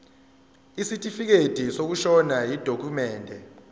isitifikedi sokushona yidokhumende